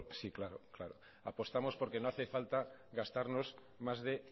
sí claro apostamos porque no hace falta gastarnos más de